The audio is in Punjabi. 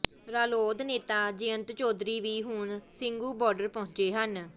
ਰਾਲੋਦ ਨੇਤਾ ਜਯੰਤ ਚੌਧਰੀ ਵੀ ਹੁਣ ਸਿੰਘੂ ਬਾਰਡਰ ਪਹੁੰਚੇ ਹਨ